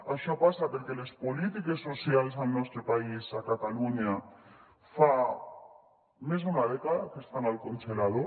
això passa perquè les polítiques socials al nostre país a catalunya fa més d’una dècada que estan al congelador